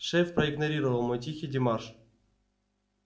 шеф проигнорировал мой тихий демарш